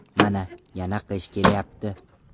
Mana, yana qish kelayapti.